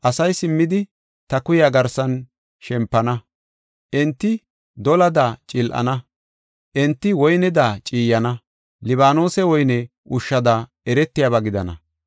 Asay simmidi ta kuya garsan shempana; enti dolada cil7ana; enti woyneda ciiyana; Libaanose woyne ushshada eretiyaba gidana.